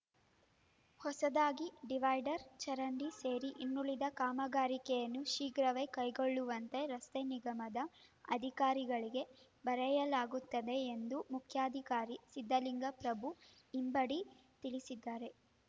ಹೊಸದಾಗಿ ಡಿವೈಡರ್ ಚರಂಡಿ ಸೇರಿ ಇನ್ನುಳಿದ ಕಾಮಗಾರಿಕೆಯನ್ನು ಶೀಘ್ರವೇ ಕೈಗೊಳ್ಳುವಂತೆ ರಸ್ತೆ ನಿಗಮದ ಅಧಿಕಾರಿಗಳಿಗೆ ಬರೆಯಲಾಗುತ್ತದೆ ಎಂದು ಮುಖ್ಯಾಧಿಕಾರಿ ಸಿದ್ಧಲಿಂಗಪ್ರಭು ಇಬಂಡಿ ತಿಳಿಸಿದರು